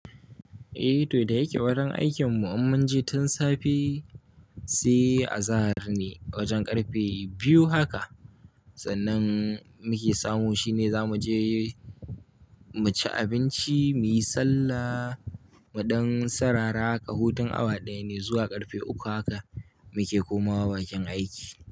Eh, to da yake warin aikin mu um mun je tun safe, se azahar ne wajen ƙarfe biyu haka. Sannan muke samu shine za mu je mu ci abinci, muyi sallah, muɗan sarara haka. Hutun awa ɗaya ne zuwa karfe uku haka. Muke komawa bakin aiki.